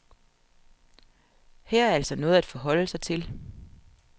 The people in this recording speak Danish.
Her er altså noget at forholde sig til.